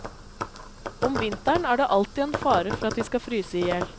Om vinteren er det alltid en fare for at de skal fryse i hjel.